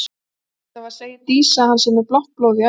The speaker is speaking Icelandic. Allavega segir Dísa að hann sé með blátt blóð í æðum.